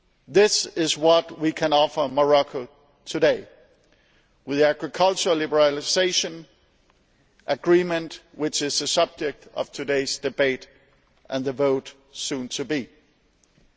This is what we can offer Morocco today, with the agricultural liberalisation agreement which is the subject of today's debate and the vote soon to take place.